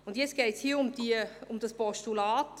Nun geht es um das vorliegende Postulat.